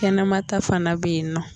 Kɛnɛmata fana bɛ yen nɔ.